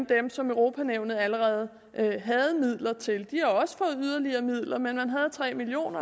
dem som europa nævnet allerede havde midler til de har også fået yderligere midler men man havde tre million